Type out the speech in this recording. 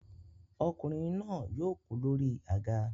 Ọkùnrin náà yóò kú lórí àga.